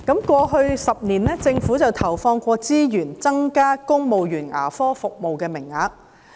過去10年，政府曾投放資源增加公務員牙科服務的名額。